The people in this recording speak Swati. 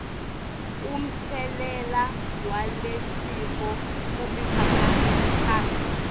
umtselela walesifo kumiphakatsi